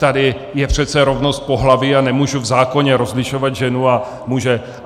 Tady je přece rovnost pohlaví a nemůžu v zákoně rozlišovat ženu a muže.